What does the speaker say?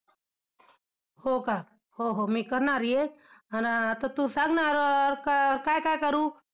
हो का? हो हो, मी करणार हे, आन~ आता तू सांगणार~ और काय काय करू?